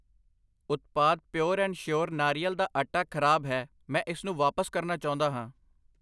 ਉਤਪਾਦ pure and sure ਨਾਰੀਅਲ ਦਾ ਆਟਾ ਖਰਾਬ ਹੈ, ਮੈਂ ਇਸਨੂੰ ਵਾਪਸ ਕਰਨਾ ਚਾਹੁੰਦਾ ਹਾਂ।